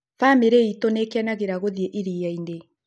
Bamĩrĩ itũ nĩkĩnagera gũthii irianĩ